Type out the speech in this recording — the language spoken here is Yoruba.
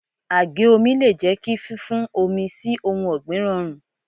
Àgé omi le jẹ́ kí fún fún omi sí ohun ọ̀gbìn rọrùn.